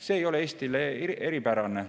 See ei ole Eestis kuidagi eripärane.